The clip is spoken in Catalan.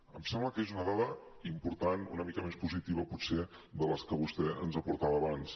em sembla que és una dada important una mica més positiva potser que les que vostè ens aportava abans